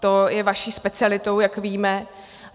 To je vaší specialitou, jak víme.